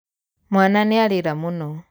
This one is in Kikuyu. Mwana nĩarĩra mũno.